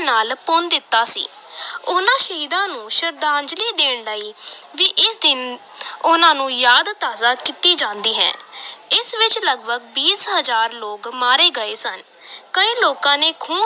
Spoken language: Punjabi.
ਨਾਲ ਭੁੰਨ ਦਿੱਤਾ ਸੀ ਉਨ੍ਹਾਂ ਸ਼ਹੀਦਾਂ ਨੂੰ ਸ਼ਰਧਾਂਜਲੀ ਦੇਣ ਲਈ ਵੀ ਇਸ ਦਿਨ ਉਨ੍ਹਾਂ ਨੂੰ ਯਾਦ ਤਾਜ਼ਾ ਕੀਤੀ ਜਾਂਦੀ ਹੈ ਇਸ ਵਿਚ ਲਗਪਗ ਵੀਹ ਹਜ਼ਾਰ ਲੋਕ ਮਾਰੇ ਗਏ ਸਨ ਕਈ ਲੋਕਾਂ ਨੇ ਖੂਹ